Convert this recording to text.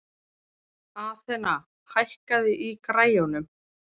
Athena, hækkaðu í græjunum.